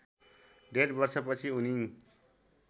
डेढ वर्षपछि उनी